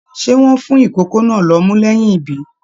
Ṣe wọn fún ikòkò náà l'ọmú lẹyìn ibí?